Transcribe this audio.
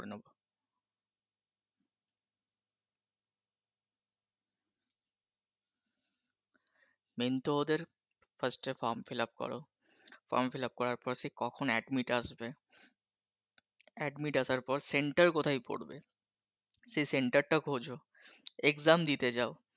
Main তো ওদের first form fill up কর। form fill up করার পর সেই কখন admit আসবে admit আসার পর centre কোথায় পড়বে সেই centre টা খোঁজো exam দিতে যাও